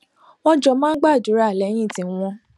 wón jọ máa ń gbàdúrà léyìn tí wón